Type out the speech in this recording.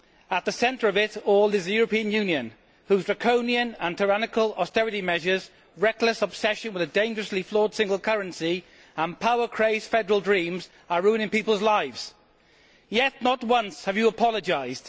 At the centre of it all is the European Union, whose draconian and tyrannical austerity measures, reckless obsession with a dangerously flawed single currency and power crazed federal dreams are ruining people's lives. Yet, Mr Barroso, not once have you apologised